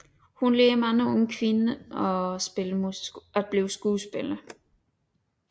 Hun lærte mange unge kvinder at blive skuespillere